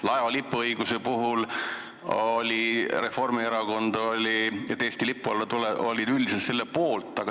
Laeva lipuõiguse puhul oli Reformierakond üldiselt erandi poolt.